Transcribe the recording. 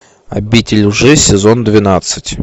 обитель лжи сезон двенадцать